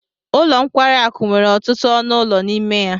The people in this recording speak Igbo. Ụlọ nkwari akụ nwere ọtụtụ ọnụ ụlọ n'ime ya